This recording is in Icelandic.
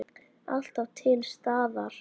Alltaf til staðar.